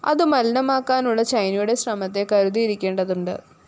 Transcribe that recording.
അതു മലിനമാക്കാനുള്ള ചൈനയുടെ ശ്രമത്തെ കരുതിയിരിക്കേണ്ടതുണ്ട്